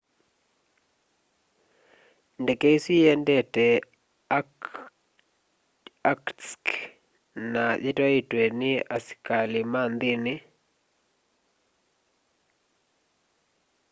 ndeke isu iendete irkutsk na yitwaitwe ni asikalima nthini